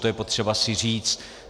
To je potřeba si říct.